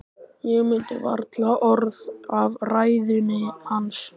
Ég mundi varla orð af ræðunni hans.